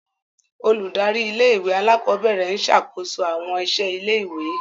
Óludari ìlé-ìwé àlàkọbẹrẹ ń ṣakoso awọn iṣẹ ìlé-ìwé.